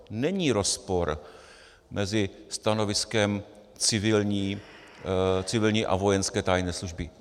Není rozpor mezi stanoviskem civilní a vojenské tajné služby.